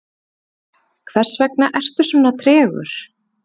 hversvegna ertu svona tregur